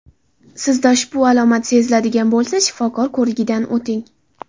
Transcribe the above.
Sizda ushbu alomat seziladigan bo‘lsa shifokor ko‘rigidan o‘ting.